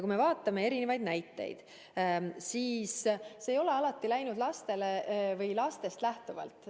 Kui me vaatame ka mõningaid näiteid, siis on näha, et ei ole alati toimitud lastest lähtuvalt.